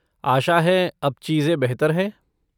आशा है अब चीज़ें बेहतर हैं?